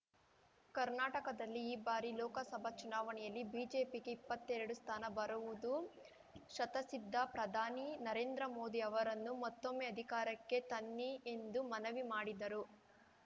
ಕರ್ನಾಟಕದಲ್ಲಿ ಈ ಬಾರಿ ಲೋಕಸಭಾ ಚುನಾವಣೆಯಲ್ಲಿ ಬಿಜೆಪಿಗೆ ಇಪ್ಪತ್ತೆರಡು ಸ್ಥಾನ ಬರುವುದು ಶತಃಸಿದ್ಧ ಪ್ರಧಾನಿ ನರೇಂದ್ರ ಮೋದಿ ಅವರನ್ನು ಮತ್ತೊಮ್ಮೆ ಅಧಿಕಾರಕ್ಕೆ ತನ್ನಿ ಎಂದು ಮನವಿ ಮಾಡಿದರು